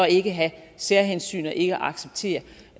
ikke have særhensyn og ikke acceptere